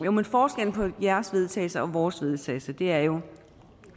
af nå men forskellen på jeres vedtagelse og vores vedtagelse er jo